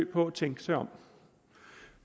på at tænke sig om